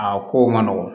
A ko ma nɔgɔn